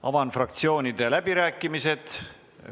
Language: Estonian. Avan fraktsioonide läbirääkimised.